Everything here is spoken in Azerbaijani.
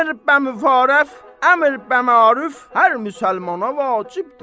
Əmr bə məruf, əmr bə məruf hər müsəlmana vacibdir.